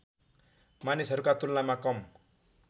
मानिसहरूका तुलनामा कम